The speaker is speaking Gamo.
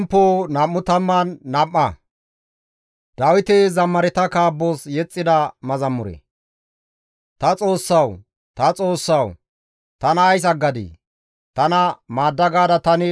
Ta Xoossawu! Ta Xoossawu! Tana ays aggadii? Tana maadda gaada tani waassishin ays siyontta ixxadii? Taappeka ays haakkadii?